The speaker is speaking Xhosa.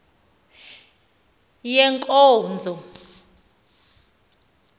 yenkonzo